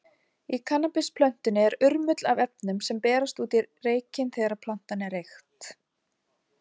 Í kannabisplöntunni er urmull af efnum, sem berast út í reykinn þegar plantan er reykt.